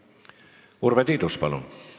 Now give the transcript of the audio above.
Urve Tiidus, palun!